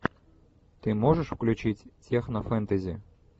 ты можешь включить технофэнтези